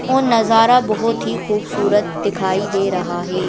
वह नजारा बहुत ही खूबसूरत दिखाई दे रहा है।